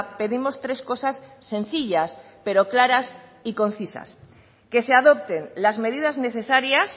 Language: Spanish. pedimos tres cosas sencillas pero claras y concisas que se adopten las medidas necesarias